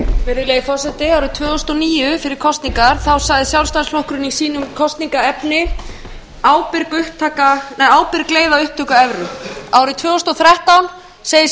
virðulegi forseti árið tvö þúsund og níu fyrir kosningar sagði sjálfstæðisflokkurinn í sínu kosningaefni ábyrg leið að upptöku evru árið tvö þúsund og þrettán segir